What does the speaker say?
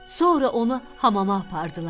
Sonra onu hamama apardılar.